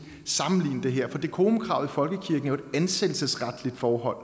sammenligne det her for decorumkravet i folkekirken er jo et ansættelsesretligt forhold